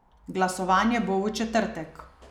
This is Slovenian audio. Glasovanje bo v četrtek.